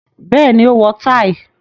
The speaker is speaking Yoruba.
Bẹ́ẹ̀ni, ó wọ táì.